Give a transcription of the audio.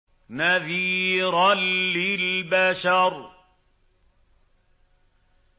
نَذِيرًا لِّلْبَشَرِ